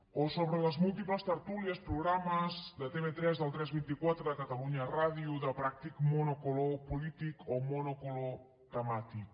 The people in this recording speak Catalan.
o sobre les múltiples tertúlies programes de tv3 del tres vint quatre de catalunya ràdio de pràctic monocolor polític o monocolor temàtic